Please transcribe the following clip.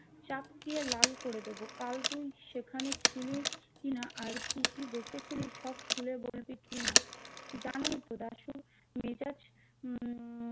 চাপকে লাল করে দেবো কাল তুই সেখানে ছিলিস কি না আর কি কি দেখেছিলিস সব খুলে বলবি কিনা জানোই তো দাশু মেজাজ উম